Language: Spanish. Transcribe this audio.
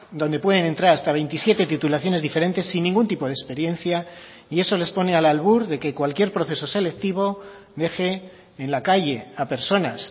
donde pueden entrar hasta veintisiete titulaciones diferentes sin ningún tipo de experiencia y eso les pone al albur de que cualquier proceso selectivo deje en la calle a personas